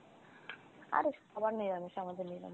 আরে সবার নিরামিষ, আমাদের ও নিরামিষ।